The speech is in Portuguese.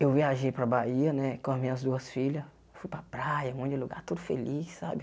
Eu viajei para a Bahia né com as minhas duas filhas, fui para a praia, um monte de lugar, tudo feliz, sabe?